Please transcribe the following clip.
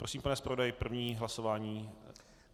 Prosím, pane zpravodaji, první hlasování.